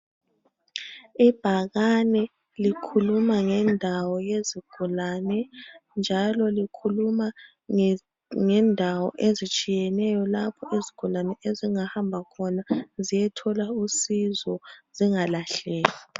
Ibhakani likhuluma ngendawo yezigulane njalo likhuluma ngendawo ezitshiyeneyo lapho izigulane ezingahamba khona ziyethola usizo zingalahleki.